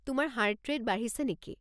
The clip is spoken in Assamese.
তোমাৰ হাৰ্ট ৰে'ট বাঢ়িছে নেকি?